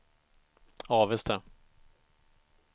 Avesta